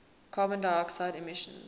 carbon dioxide emissions